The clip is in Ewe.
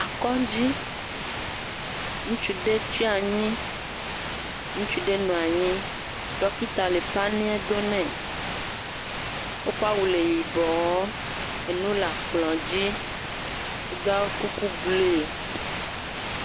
Akɔŋdzi. Ŋutsu ɖe tsi anyi. Ŋutsu ɖe nɔ anyi. Ɖɔkita le paniɛ donɛ. Eƒe awu le yibɔɔ. Enuwo le kplɔ̃a dzi. Edo kuku blue.